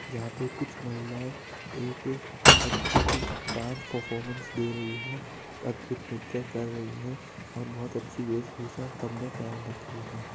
जहां पे कुछ महिलाये एक अद्भुत डान्स परफॉर्मेंस दे रही है एक अद्भुत नृत्य कर रही है और बहुत अच्छी वेश-भूषा सब ने पेहन रखी है।